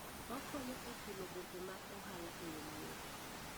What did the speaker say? Okonyo e chulo gope mag ohala e yo mayot.